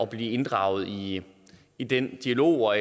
blive inddraget i i den dialog og